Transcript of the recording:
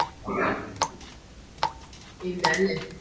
ഇല്ല അല്ലെ